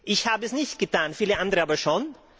Ich habe es nicht getan, viele andere aber schon.